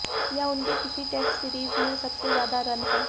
यह उनके किसी टेस्ट सीरीज में सबसे ज्यादा रन हैं